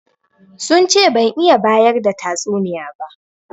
Sun ce ban iya bayar da tatsuniya ba.